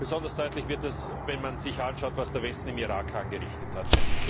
Besonders deutlich wird das, wenn man sich anschaut, was der Westen im Irak angerichtet hat.